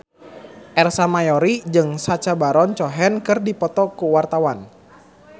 Ersa Mayori jeung Sacha Baron Cohen keur dipoto ku wartawan